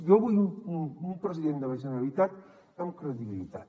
jo vull un president de la generalitat amb credibilitat